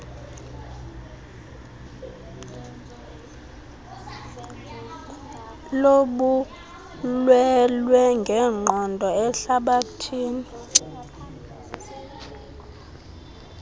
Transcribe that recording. lobulwelwe ngenqondo ehlabathini